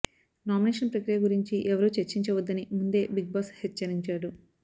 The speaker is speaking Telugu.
నామినేషన్ ప్రక్రియ గురించి ఎవరూ చర్చించ వద్దని ముందే బిగ్బాస్ హెచ్చరించాడు